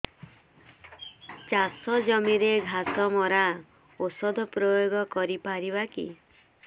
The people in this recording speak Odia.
ଚାଷ ଜମିରେ ଘାସ ମରା ଔଷଧ ପ୍ରୟୋଗ କରି ପାରିବା କି